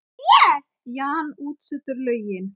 Jan útsetur lögin.